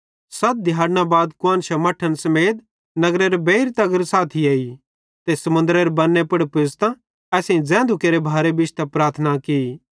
सत दिहैड़ना बाद कुआन्शां मट्ठन समेत नगरेरे बेइर तगर साथी आए ते समुन्दरेरे बन्ने पुज़तां असेईं ज़ैधू केरे भारे बिश्तां प्रार्थना की